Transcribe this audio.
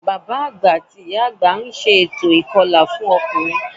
Bàbá àgbà àti ìyá àgbà ń ṣe ètò ìkọlà fọ́kùnrin